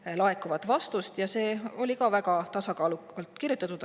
See oli väga tasakaalukalt kirjutatud.